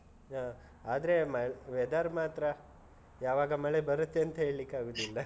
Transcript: ಹಾ. ಆದ್ರೆ weather ಮಾತ್ರ ಯಾವಾಗ ಮಳೆ ಬರುತ್ತೆ ಅಂತ ಹೇಳಿಕ್ಕೆ ಆಗುದಿಲ್ಲ .